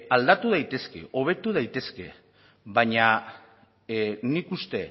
aldatu daitezke hobetu daitezke baina nik uste